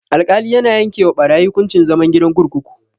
Alkali yana yanke wa barayi hukuncin zama gidan kurkuku.